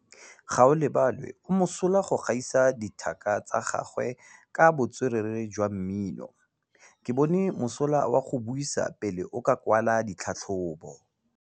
Gaolebalwe o mosola go gaisa dithaka tsa gagwe ka botswerere jwa mmino. Ke bone mosola wa go buisa pele o kwala tlhatlhobô.